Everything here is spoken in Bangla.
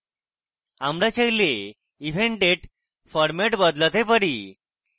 আমরা চাইলে event date ফরম্যাট বদলাতে পারি